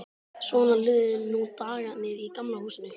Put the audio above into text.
Svona liðu nú dagarnir í Gamla húsinu.